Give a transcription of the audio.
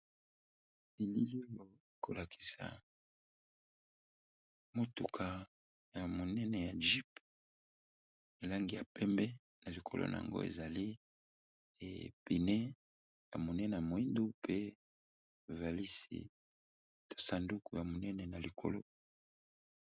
Elili oyo ezo kolakisa mutuka moko ya monene, na lopoto babengi jeep